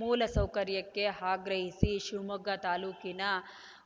ಮೂಲ ಸೌಕರ್ಯಕ್ಕೆ ಆಗ್ರಹಿಸಿ ಶಿವಮೊಗ್ಗ ತಾಲೂಕಿನ